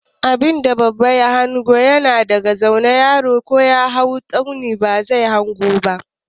Abinda babba ya hanga yana daga zaune, yaro ko ya hau tsauni ba zai hanga ba.